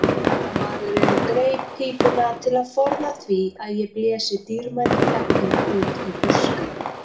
Kanadamaðurinn greip pípuna til að forða því að ég blési dýrmætu efninu út í buskann.